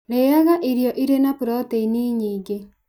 Rĩaga irio irĩ na protĩini nyingĩ.